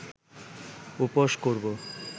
উপোস করব